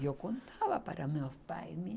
Eu contava para meus pais.